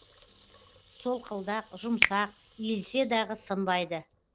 солқылдақ жұмсақ иілсе дағы сынбайды